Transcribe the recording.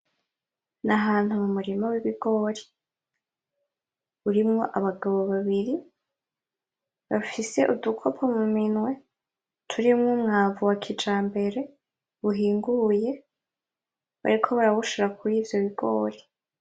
Nahantu mu murima w'ibigori, urimwo abagabo babiri, bafise udukopo mu minwe, turimwo umwavu wa kijambere, uhinguye, bariko barawushira kuri ivyo bigori.